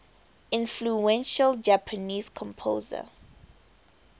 influential japanese composer